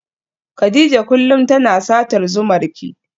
Kadija kullum tana satar zumarki.